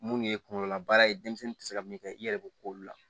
Mun ye kunkololabaara ye denmisɛnnin tɛ se ka min kɛ i yɛrɛ bɛ ko olu la